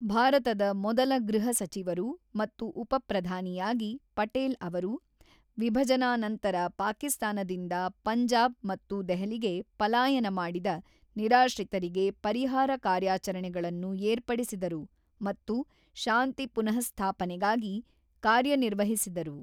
ಭಾರತದ ಮೊದಲ ಗೃಹ ಸಚಿವರು ಮತ್ತು ಉಪಪ್ರಧಾನಿಯಾಗಿ ಪಟೇಲ್ ಅವರು, ವಿಭಜನಾನಂತರ ಪಾಕಿಸ್ತಾನದಿಂದ ಪಂಜಾಬ್ ಮತ್ತು ದೆಹಲಿಗೆ ಪಲಾಯನ ಮಾಡಿದ ನಿರಾಶ್ರಿತರಿಗೆ ಪರಿಹಾರ ಕಾರ್ಯಾಚರಣೆಗಳನ್ನು ಏರ್ಪಡಿಸಿದರು ಮತ್ತು ಶಾಂತಿ ಪುನಃಸ್ಥಾಪನೆಗಾಗಿ ಕಾರ್ಯನಿರ್ವಹಿಸಿದರು.